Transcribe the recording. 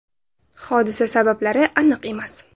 Hodisa sabablari aniq emas.